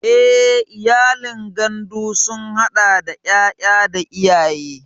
Eh, iyalin gandu sun hada da yaya da iyaye.